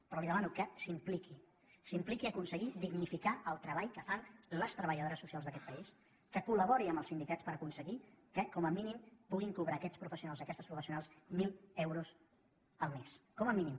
però li demano que s’impliqui s’impliqui a aconseguir dignificar el treball que fan les treballadores so cials d’aquest país que col·labori amb els sindicats per aconseguir que com a mínim puguin cobrar aquests professionals i aquestes professionals mil euros al mes com a mínim